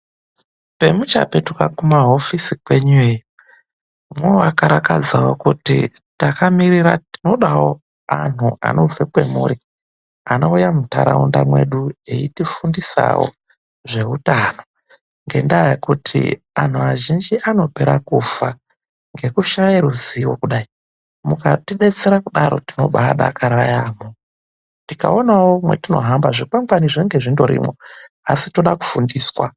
Pemuchapetuka kumahofisi kwenyu iyeyo. Movakarakadzirawo kuti takamirira. Tinodawo anhtu anobve kwemuri, anouya muntaraunda medu eitifundisawo zveutano. Ngendaa yekuti anhtu azhinji anopera kufa ngekushaya ruzivo kudai. Mukatibetsera kudaro tinobakara yaampho. Tikaonawo matohamba, zvikwangwani zvinenge zvindorimwo,;asi toda kufundiswa.